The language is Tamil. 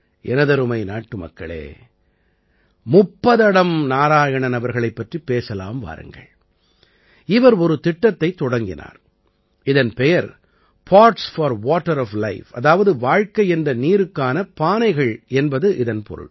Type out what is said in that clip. எனதருமை நாட்டுமக்களே முப்பத்தடம் நாராயணன் அவர்களைப் பற்றிப் பேசலாம் வாருங்கள் இவர் ஒரு திட்டத்தைத் தொடங்கினார் இதன் பெயர் pots for water of life அதாவது வாழ்க்கை என்ற நீருக்கான பானைகள் என்பது இதன் பொருள்